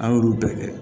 An y'olu bɛɛ kɛ